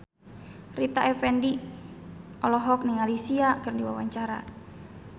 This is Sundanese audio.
Rita Effendy olohok ningali Sia keur diwawancara